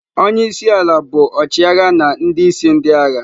Onye isi ala bụ ọchịagha na ndị isi ndị agha.